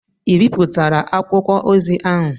Ị ebipụtala akwụkwọ ozi ahụ?